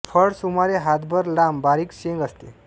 फळ सुमारे हातभर लांब व बारीक शेंग असते